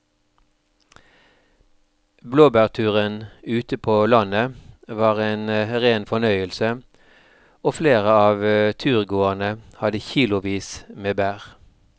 Blåbærturen ute på landet var en rein fornøyelse og flere av turgåerene hadde kilosvis med bær.